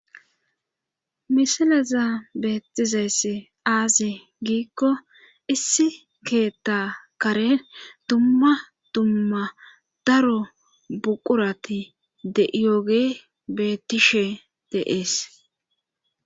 Miisileza beettizayssi aaze giikko issi keetta karen dumma dumma daro buqurati de7iyooge bettishe deees.